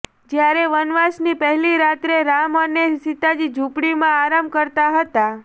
જ્યારે વનવાસની પહેલી રાત્રે રામ અને સીતાજી ઝુપડીમાં આરામ કરતા હતા